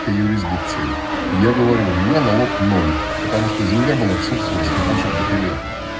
юрисдикции я говорю у меня налог ноль потому что земля была в собственности больше пяти лет